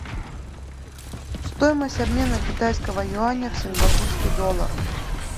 стоимость обмена китайского юаня в сингапурский доллар